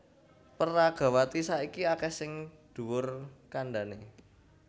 Peragawati saiki akèh sing dhuwur kandhané